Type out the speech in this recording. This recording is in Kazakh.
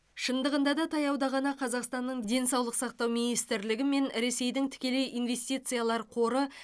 шындығында да таяуда ғана қазақстанның денсаулық сақтау министрлігі мен ресейдің тікелей инвестициялар қоры